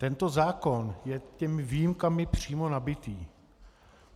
Tento zákon je těmito výjimkami přímo nabitý.